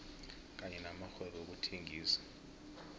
kanye namakghwebo wezokuthengisa